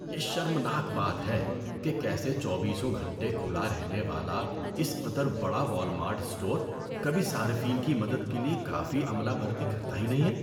یہ شرمناک بات ہے کہ کیسے چوبیسوں گھنٹے کھلا رہنے والا اس قدر بڑا والمارٹ اسٹور کبھی صارفین کی مدد کے لیے کافی عملہ بھرتی کرتا ہی نہیں ہے۔